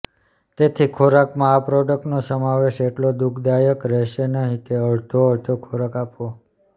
તેથી ખોરાકમાં આ પ્રોડકટનો સમાવેશ એટલો દુઃખદાયક રહેશે નહીં કે અડધો અડધો ખોરાક આપવો